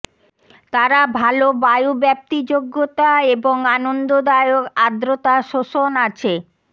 তারা ভাল বায়ু ব্যাপ্তিযোগ্যতা এবং আনন্দদায়ক আর্দ্রতা শোষণ আছে